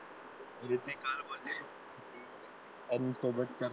आणि सोबतच्या